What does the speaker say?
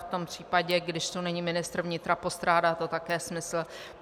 V tom případě, když tu není ministr vnitra, postrádá to také smysl.